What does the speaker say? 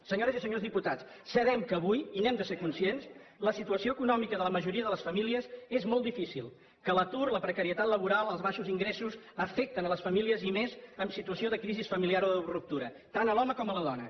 senyores i senyors diputats sabem que avui i n’hem de ser conscients la situació econòmica de la majoria de les famílies és molt difícil que l’atur la precarietat laboral els baixos ingressos afecten les famílies i més en situació de crisi familiar o de ruptura tant l’home com la dona